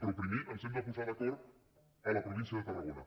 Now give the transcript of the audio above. però primer ens hem de posar d’acord a la província de tarragona